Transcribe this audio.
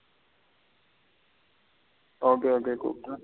Okay okay .